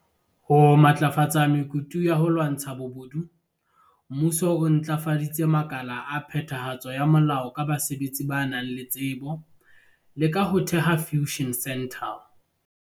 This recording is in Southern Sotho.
Ho matlafatsa mekutu ya ho lwantsha bobodu, Mmuso o ntlafaditse makala a phetha hatso ya molao ka basebetsi ba nang le tsebo, le ka ho theha Fusion Centre.